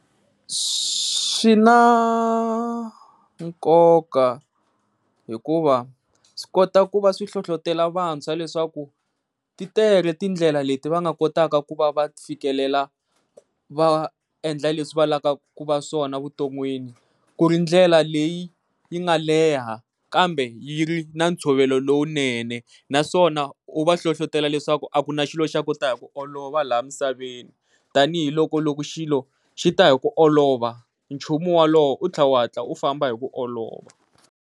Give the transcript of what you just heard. Swi na nkoka hikuva swi kota ku va swi hlohlotela vantshwa leswaku ti tele tindlela leti va nga kotaka ku va fikelela va endlaka leswi va lavaka ku va swona evuton'wini ku ri ndlela leyi yi nga leha kambe yi ri na ntshovelo lowunene. Naswona u va hlohlotela leswaku a ku na xilo xo ta hi ku olova laha misaveni tanihiloko loko xilo xita hi ku olova nchumu wolowo u tlha u famba hi ku olova.